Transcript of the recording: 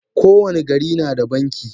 Ko wani gari nada banki.